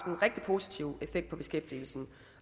rigtig positiv effekt på beskæftigelsen